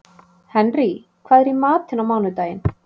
Henrý, hvað er í matinn á mánudaginn?